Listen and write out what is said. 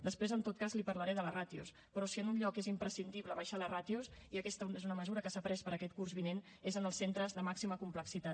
després en tot cas li parlaré de les ràtios però si en un lloc és imprescindible abaixar les ràtios i aquesta és una mesura que s’ha pres per a aquest curs vinent és en els centres de màxima complexitat